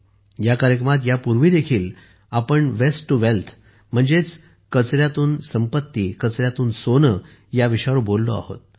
या कार्यक्रमात यापूर्वीही आपण वेस्ट टू वेल्थ म्हणजेच कचऱ्यातून संपत्ती सोने या विषयावर बोललो आहोत